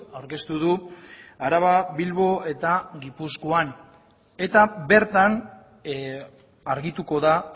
aurkeztu du araba bilbo eta gipuzkoan eta bertan argituko da